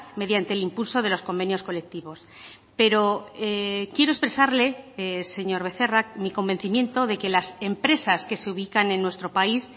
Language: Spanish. mediante el impulso de los convenios colectivos pero quiero expresarle señor becerra mi convencimiento de que las empresas que se ubican en nuestro país